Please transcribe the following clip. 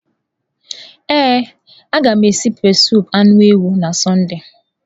Ee, a ga m esi pepesụpụ anụ ewu na Sọnde.